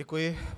Děkuji.